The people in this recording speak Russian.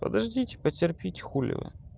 подождите потерпеть хули вы